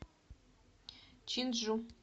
чинджу